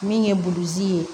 Min ye burusi ye